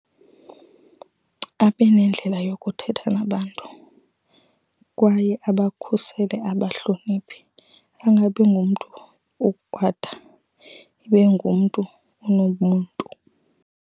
Abe nendlela yokuthetha nabantu kwaye abakhusele ababahloniphe. Angabi ngumntu okrwada, ibe ngumntu unomntu.